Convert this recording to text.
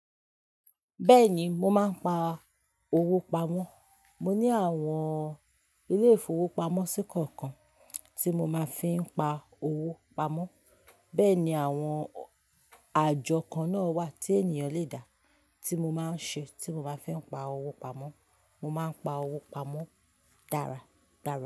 Bẹ́ẹ̀ni, mo máa ń pa owó pamọ́. Mo ní àwọn ilé-ìfowópamọ́sí kọ̀ọ̀kan tí mo máa fi ń pa owó pamọ́. Bẹ́ẹ̀ ni àwọn àjọ kan náà wà tí ènìyàn le dà tí mo máa ń ṣe tí mo bá fẹ́ pa owó pamọ́. Mo máa ń pa owó pamọ́ dára dára.